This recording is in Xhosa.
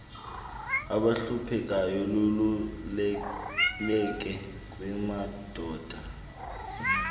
abahluphekayo luvuleleke kumadoda